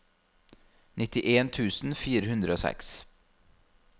nittien tusen fire hundre og seks